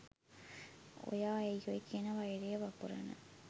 ඔයා ඇයි ඔය කියන වෛරය වපුරන